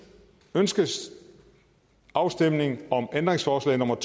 ønskes afstemning om ændringsforslag nummer